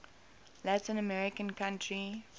latin american country